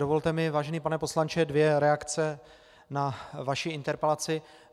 Dovolte mi, vážený pane poslanče, dvě reakce na vaši interpelaci.